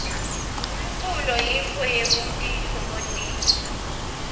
umculo yintfo yekutitfokotisa